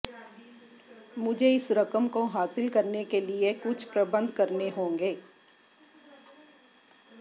मुझे इस रकम को हासिल करने के लिए कुछ प्रबंध करने होंगे